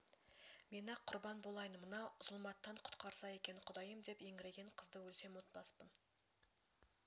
мен-ақ құрбан болайын мына зұлматтан құтқарса екен құдайым деп еңіреген қызды өлсем ұмытпаспын